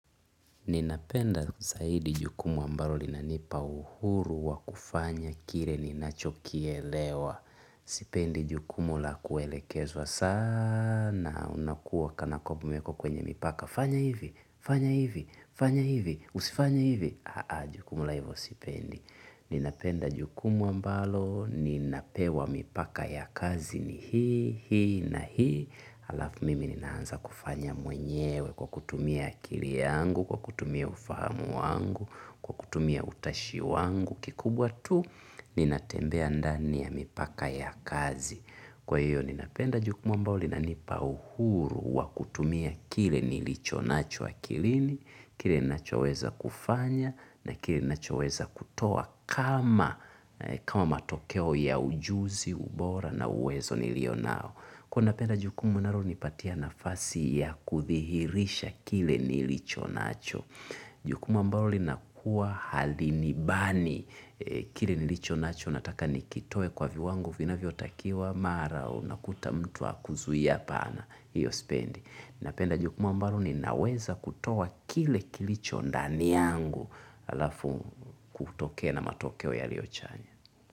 Ninapenda zaidi jukumu ambalo linanipa uhuru wa kufanya kile ninachokielewa sipendi jukumu la kuelekezwa sana unakuwa kanakwamba niko kwenye mipaka fanya hivi, fanya hivi, fanya hivi, usifanye hivi. Haa jukumu la hivo sipendi ninapenda jukumu ambalo ninapewa mipaka ya kazi ni hii, hii na hii alafu mimi ninaanza kufanya mwenyewe kwa kutumia akili yangu, kwa kutumia ufahamu wangu, kwa kutumia utashi wangu. Kikubwa tu ninatembea ndani ya mipaka ya kazi. Kwa hiyo ninapenda jukumu ambalo linanipa uhuru wa kutumia kile nilicho nacho akilini, kile nacho weza kufanya na kile nacho weza kutoa kama matokeo ya ujuzi, ubora na uwezo nilio nao. Kuwa napenda jukumu inalonipatia nafasi ya kuthihirisha kile nilicho nacho. Jukumu ambalo linakuwa halinibani kile nilicho nacho nataka nikitoe kwa viwango vina vyotakiwa mara o nakuta mtu akuzuia pana hiyo spendi. Napenda jukumu ambalo ninaweza kutoa kile kilicho ndani yangu alafu kutokea na matokeo yaliochanya.